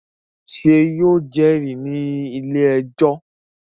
Ṣé yóò jẹ́rìí ní ilé-ẹjọ́?